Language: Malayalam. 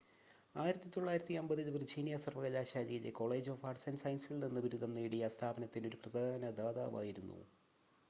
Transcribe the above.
1950 ൽ വിർജീനിയ സർവകലാശാലയിലെ കോളേജ് ഓഫ് ആർട്സ് & സയൻസസിൽ നിന്ന് ബിരുദം നേടി ആ സ്ഥാപനത്തിന് ഒരു പ്രധാന ദാതാവായിരുന്നു